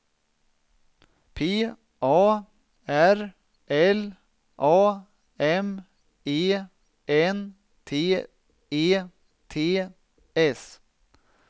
P A R L A M E N T E T S